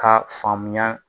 K'a faamuya